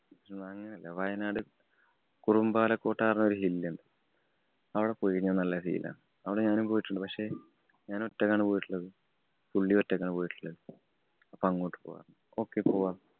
അങ്ങനെയല്ല. വയനാട് കുറമ്പാലകോട്ടന്നു പറഞ്ഞ ഒരു hill ഉണ്ട്. അവിടെ പോയികഴിഞ്ഞാല്‍ നല്ല feel ആണ്. അവിടെ ഞാനും പോയിട്ടുണ്ട്. പക്ഷേ, ഞാനൊറ്റയ്ക്കാണ് പോയിട്ടുള്ളത്. പുള്ളീം ഒറ്റയ്ക്കാണ് പോയിട്ടുള്ളത്. അപ്പൊ അങ്ങോട്ട്‌ പോവാംന്നു പറഞ്ഞു. Okay പോവാം.